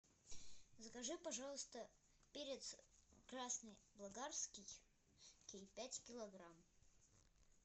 закажи пожалуйста перец красный болгарский пять килограмм